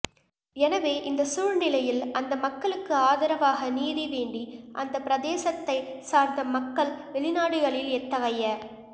எனவே இந்தச் சூழ்நிலையில் அந்த மக்களுக்கு ஆதரவாக நீதி வேண்டி அந்தப் பிரதேசத்தைச் சார்ந்த மக்கள் வெளிநாடுகளில் எத்தகைய